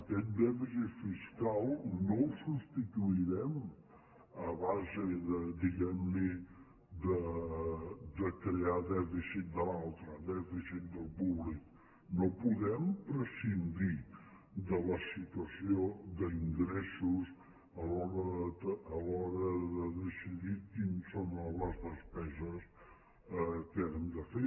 aquest dèficit fiscal no el substituirem a base diguem ne de crear dèficit de l’altre dèficit del públic no podem prescindir de la situació d’ingressos a l’hora de decidir quines són les despeses que hem de fer